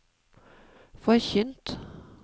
forkynt